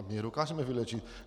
A my je dokážeme vyléčit!